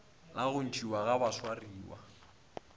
la go ntšhiwa ga baswariwa